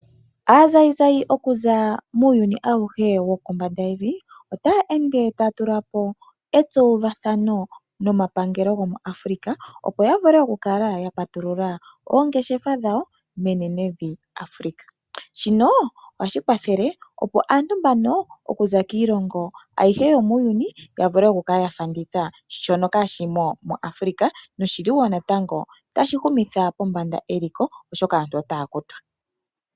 Aazayizayi okuza muyuni awuhe wokombanda yevi otaa ende taa tula po etsowuvathano nomapangelo go moAfrica. Opo ya vule okukala ya patulula oongeshefa dhawo menenevi Africa. Shino ohashi kwathele opo aantu mbano okuza kiilongo ayihe yomuuyuni, ya vule okukala ya fanditha shono kaa shimo mo Africa, noshili wo natango tashi humitha pombanda eliko oshoka aantu otaya futwa.